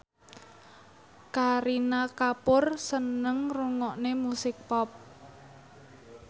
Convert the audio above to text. Kareena Kapoor seneng ngrungokne musik pop